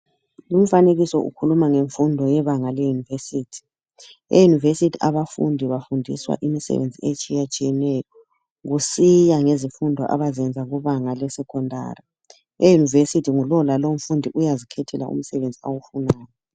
Lumfanekiso ukhuluma ngemfundo yebanga leyunivesithi, eyunivesithi abafundi bafundiswa imisebenzi etshiyatshiyeneyo kusiya ngezifundo abazenza kubanga le secondary eyunivesithi ngulolalo umfundi uyazikhethela umsebenzi awufunayo.